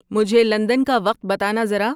مجھے لندن کا وقت بتانا زرا